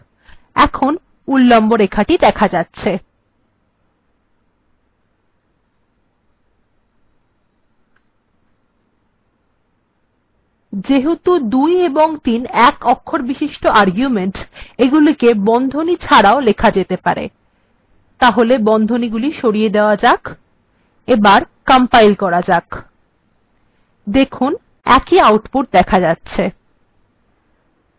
এখন উল্লম্ব রেখাগুলি দেখা যাচ্ছে যেহেতু ২ এবং ৩ একঅক্ষরবিশিষ্ট আর্গুমেন্ট এগুলিকে বন্ধনী ছাড়াও লেখা যেতে পারে তাহলে বন্ধনীগুলি সরিয়ে দেয়া যাক দেখুন একই আউটপুট্ দেখা যাচ্ছে